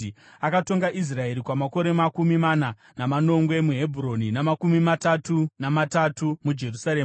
Akatonga Israeri kwamakore makumi mana, manomwe muHebhuroni namakumi matatu namatatu muJerusarema.